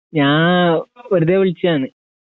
ഞാൻ വെറുതെ വിളിച്ചതാണ്